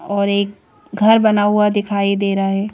और एक घर बना हुआ दिखाई दे रहा है।